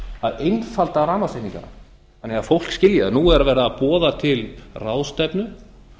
að einfalda rafmagnsreikningana þannig að fólk skilji þá nú er verið að boða til ráðstefnu